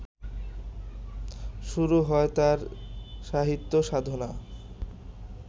শুরু হয় তাঁর সাহিত্যসাধনা